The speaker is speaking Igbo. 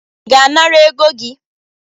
I ga-inara ego gi?